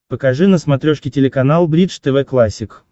покажи на смотрешке телеканал бридж тв классик